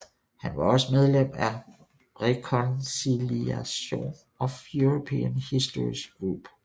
Han var også medlem af Reconciliation of European Histories Group